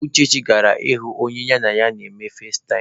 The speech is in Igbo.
Uchechi gara ịhụ onye ya na ya na-eme fazetaịm.